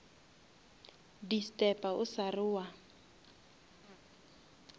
disturba o sa re wa